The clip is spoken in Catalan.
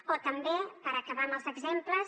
o també per acabar amb els exemples